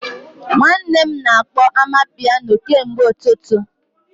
Nwanne m na-akpọ amapiano kemgbe ụtụtụ